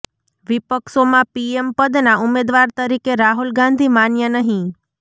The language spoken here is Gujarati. વિપક્ષોમાં પીએમ પદના ઉમેદવાર તરીકે રાહુલ ગાંધી માન્ય નહીં